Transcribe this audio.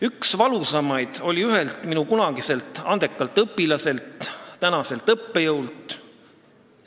Üks valusamaid oli ühelt minu kunagiselt andekalt õpilaselt, tänaselt õppejõult.